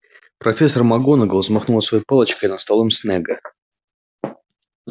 профессор макгонагалл взмахнула своей палочкой над столом снегга